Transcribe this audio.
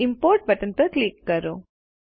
હવે import button પર click કરો